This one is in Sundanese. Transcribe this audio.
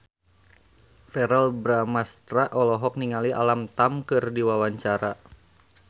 Verrell Bramastra olohok ningali Alam Tam keur diwawancara